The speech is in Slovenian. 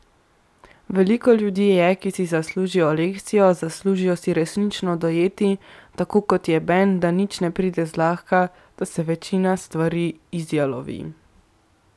Veliko ljudi je, ki si zaslužijo lekcijo, zaslužijo si resnično dojeti, tako kot je Ben, da nič ne pride zlahka, da se večina stvari izjalovi.